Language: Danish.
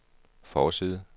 forside